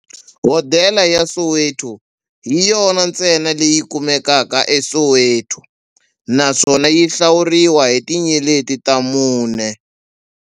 Hodela ya Soweto hi yona ntsena leyi kumekaka eSoweto, naswona yi hlawuriwa hi tinyeleti ta mune.